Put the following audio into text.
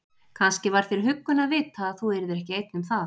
Kannski var þér huggun að vita að þú yrðir ekki einn um það.